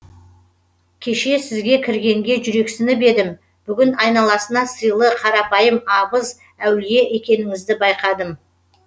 кеше сізге кіргенге жүрексініп едім бүгін айналасына сыйлы қарапайым абыз әулие екеніңізді байқадым